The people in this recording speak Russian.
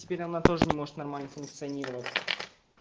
теперь она тоже не может нормально функционировать